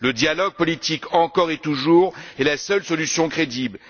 Le dialogue politique, encore et toujours, est la seule solution crédible.